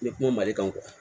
N ye kuma mali kan